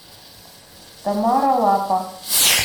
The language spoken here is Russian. тамара лапа